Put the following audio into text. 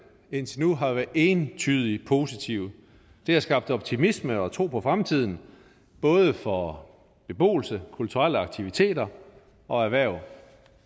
indtil nu har været entydig positive det har skabt optimisme og tro på fremtiden både for beboelse kulturelle aktiviteter og erhverv